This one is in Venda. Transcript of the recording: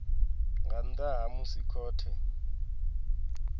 nga nnḓa ha musi khothe